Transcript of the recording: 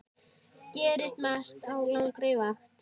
Gerist margt á langri vakt.